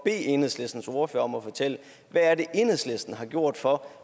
enhedslistens ordfører om at fortælle hvad er det enhedslisten har gjort for